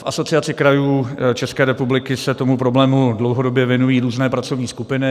V Asociaci krajů České republiky se tomu problému dlouhodobě věnují různé pracovní skupiny.